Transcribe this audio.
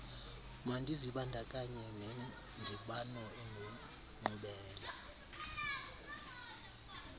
mandizibandakanye nendibano enenkqubela